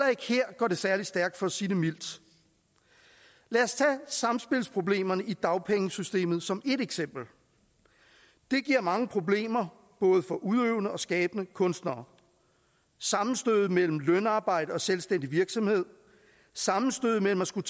går det særlig stærkt for at sige det mildt lad os tage samspilsproblemerne i dagpengesystemet som ét eksempel det giver mange problemer både for udøvende og skabende kunstnere sammenstødet mellem lønarbejde og selvstændig virksomhed sammenstødet mellem at skulle